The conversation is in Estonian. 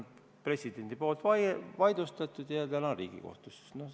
President on selle vaidlustanud ja täna on see Riigikohtus.